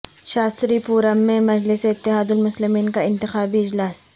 شاستری پورم میں مجلس اتحاد المسلمین کا انتخابی اجلاس